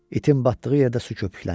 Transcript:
İtin batdığı yerdə su köpüklənir.